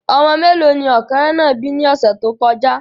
Ọmọ mélòó ni ọ̀kẹ́rẹ́ náà bí ni ọ̀sẹ̀ tó kọjá